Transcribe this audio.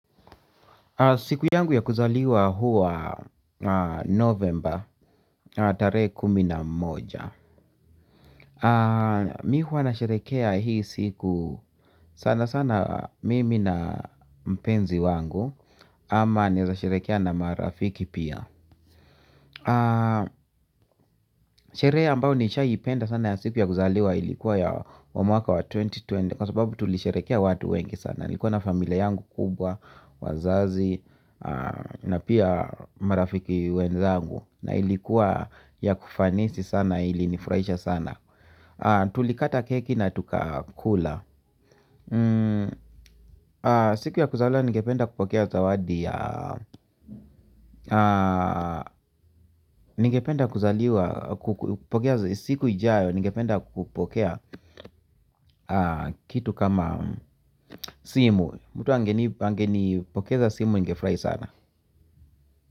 Siku yangu ya kuzaliwa huwa novemba tarehe kumi na moja mimi huwa nasherehekea hii siku sana sana mimi na mpenzi wangu ama naweza sherehekea na marafiki pia. Sherehe ambayo nishawahipenda sana ya siku ya kuzaliwa ilikuwa ya mwaka wa elfu mbili na ishirini kwa sababu tulisherehekea watu wengi sana nilikuwa na familia yangu kubwa, wazazi na pia marafiki wenzangu. Na ilikuwa ya kufanisi sana ilinifurahisha sana. Tulikata keki na tukakula. Siku ya kuzaliwa ningependa kupokea zawadi. Siku ijayo ningependa kupokea kitu kama simu. Mtu angenipokeza simu ningefurahi sana.